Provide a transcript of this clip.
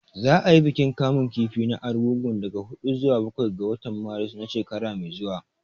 Za a yi bikin kamun kifi na Argungu daga huɗu zuwa bakwai ga watan Maris na shekara mai zuwa